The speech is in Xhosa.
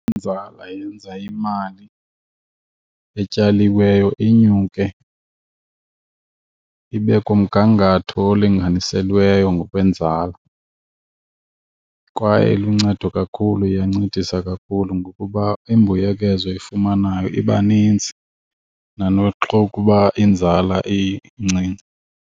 Inzala yenza imali etyaliweyo inyuke ibe kumgangatho olinganiselweyo ngokwenzala kwaye iluncedo kakhulu, iyancedisa kakhulu ngokuba imbuyekezo oyifumanayo iba nintsi nanoxa ukuba inzala incinci.